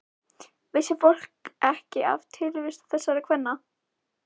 Vissi fólk ekki af tilvist þessara kvenna?